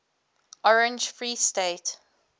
orange free state